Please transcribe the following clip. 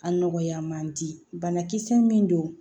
A nɔgɔya man di banakisɛ min don